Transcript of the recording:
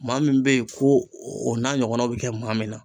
Maa min be yen ,ko o n'a ɲɔgɔnnaw be kɛ maa min na